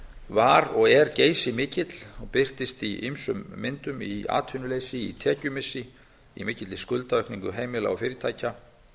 var og er geysimikill og birtist í ýmsum myndum í atvinnuleysi í tekjumissi í mikilli skuldaaukningu heimila og fyrirtækja